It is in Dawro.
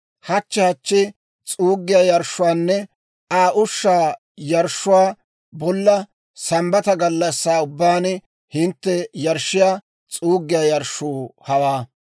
Hachche hachchi s'uuggiyaa yarshshuwaanne Aa ushshaa yarshshuwaa bolla, Sambbata gallassaa ubbaan hintte yarshshiyaa s'uuggiyaa yarshshuu hawaa.